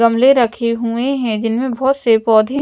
गमले राखे हुए हैं जिनमे बोहत से पौधे--